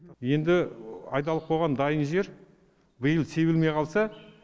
енді айдалып қойған дайын жер биыл себілмей қалса